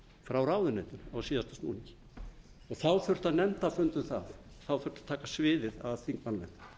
frá ráðuneytinu á síðasta snúning þá þurfi nefndarfund um það þá þurfti að taka sviðið af þingmannanefndinni